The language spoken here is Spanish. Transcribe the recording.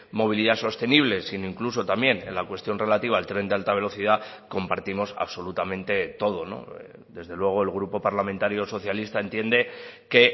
movilidad sostenible sino incluso también en la cuestión relativa al tren de alta velocidad compartimos absolutamente todo desde luego el grupo parlamentario socialista entiende que